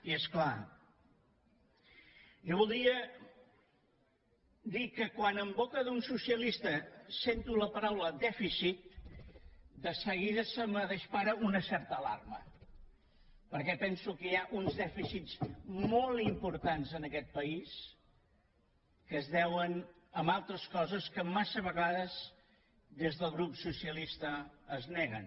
i és clar jo voldria dir que quan en boca d’un socialista sento la paraula dèficit de seguida se’m dispara una certa alarma perquè penso que hi ha uns dèficits molt importants en aquest país que es deuen a altres coses que massa vegades des del grup socialista es neguen